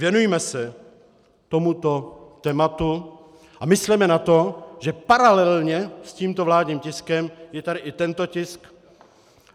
Věnujme se tomuto tématu a mysleme na to, že paralelně s tímto vládním tiskem je tady i tento tisk.